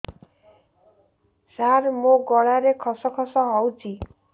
ସାର ମୋ ଗଳାରେ ଖସ ଖସ ହଉଚି